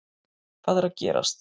Hvað er að gerast